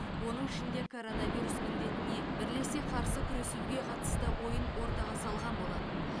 оның ішінде коронавирус індетіне бірлесе қарсы күресуге қатысты ойын ортаға салған болатын